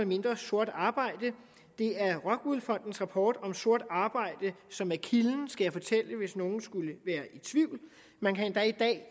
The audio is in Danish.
mindre sort arbejde det er rockwool fondens rapport om sort arbejde som er kilden skal jeg fortælle hvis nogle skulle være i tvivl man kan endda i dag